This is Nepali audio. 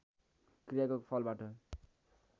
क्रियाको फलबाट